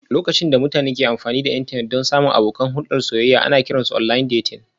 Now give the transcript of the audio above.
Lokacin da mutane ke amfani da intanet don samun abokan hulɗar soyayya ana kiran su online dating